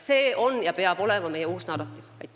See on ja peab olema meie uus narratiiv.